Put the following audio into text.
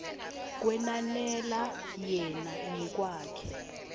kwenanela yena ngekwakhe